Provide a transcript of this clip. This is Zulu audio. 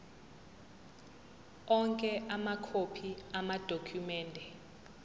onke amakhophi amadokhumende